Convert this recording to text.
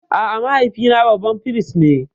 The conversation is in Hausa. A'a, mahaifina babban firist ne.